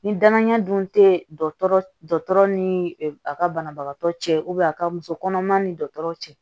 Ni danaya dun te dɔtɔrɔ ni a ka banabagatɔ cɛ a ka muso kɔnɔma ni dɔgɔtɔrɔ cɛ